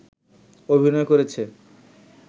অভিনয় করেছে